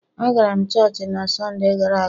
Agara m chọọchị na Sọnde gara aga.